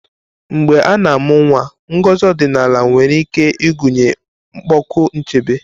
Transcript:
Mgbe a na-amụ nwa, ngozi ọdịnala nwere ike ịgụnye ịkpọku nchebe.